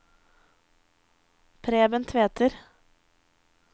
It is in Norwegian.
Preben Tveter